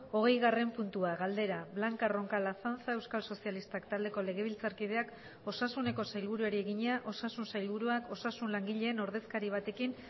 hogeigarren puntua galdera blanca roncal azanza euskal sozialistak taldeko legebiltzarkideak osasuneko sailburuari egina osasun sailburuak osasun langileen ordezkari batekin